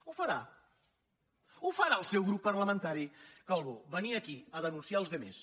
ho farà ho farà el seu grup parlamentari calbó venir aquí a denunciar els altres